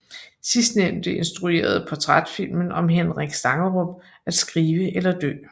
Sidstnævnte instruerede portrætfilmen om Henrik Stangerup At skrive eller dø